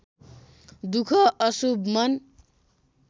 दुख अशुभ मन